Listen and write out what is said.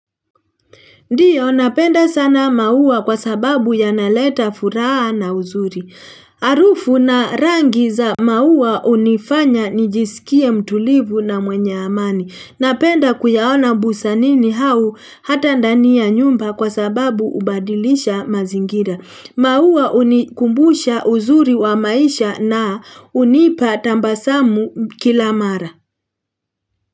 Ndiyo, napenda sana maua kwa sababu yanaleta furaha na uzuri. Harufu na rangi za maua hunifanya nijisikie mtulivu na mwenye amani. Napenda kuyaona bustanini au hata ndani ya nyumba kwa sababu hubadilisha mazingira. Maua hunikumbusha uzuri wa maisha na hunipa tabasamu kila mara.